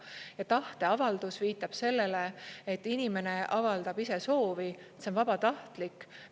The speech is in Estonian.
Ja tahteavaldus viitab sellele, et inimene avaldab ise soovi, see on vabatahtlik.